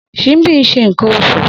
Simbi nse nkan osu.